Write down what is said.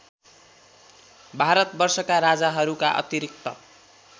भारतवर्षका राजाहरूका अतिरिक्त